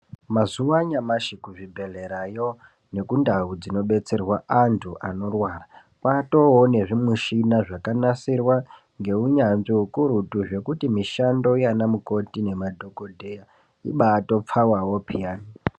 Mazuva anyamashi kuzvibhedhlerayo nekundau dzinodetserwa antu anorwara kwatoonezvimishina zvakanasirwa ngeunyanzvi ukurutu zvekuti mishando yanamukoti nemadhogodheya, ibaatopfawawo pheyani.